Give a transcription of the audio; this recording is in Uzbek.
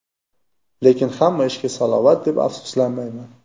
Lekin hamma ishga salovat deb, afsuslanmayman.